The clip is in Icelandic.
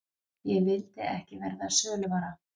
Ég vildi ekki verða söluvara.